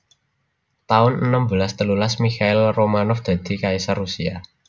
taun enem belas telulas Mikhail Romanov dadi kaisar Rusia